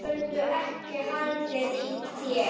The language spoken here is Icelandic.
Geturðu ekki haldið í þér?